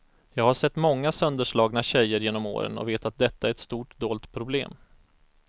Jag har sett många sönderslagna tjejer genom åren och vet att detta är ett stort dolt problem.